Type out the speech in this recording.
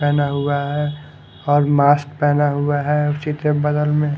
पहना हुआ है और मास्क पहना हुआ है उसी के बगल मे--